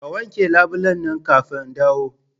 Ka wanke labulen nan kafin in dawo!